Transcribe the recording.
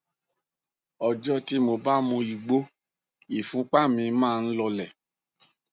ọjọ tí mo bá mu igbó ìfúnpá mi máa ń lọọlẹ